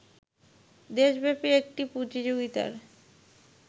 দেশব্যাপী একটি প্রতিযোগিতার